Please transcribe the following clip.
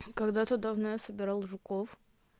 когда-то давно я собирал жуков